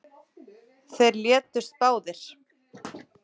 Þeir létust báðir